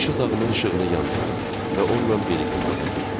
İş otağımın işığını yandırdım və onunla birlikdə otağa girdim.